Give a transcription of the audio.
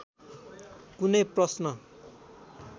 कुनै प्रश्न